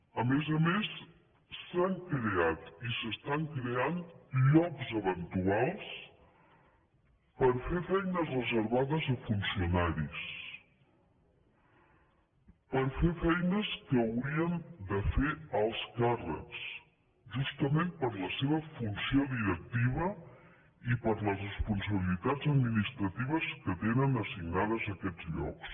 a més a més s’han creat i s’estan creant llocs eventuals per fer feines reservades a funcionaris per fer feines que haurien de fer alts càrrecs justament per la seva funció di rec tiva i per les responsabilitats administratives que tenen assignades aquests llocs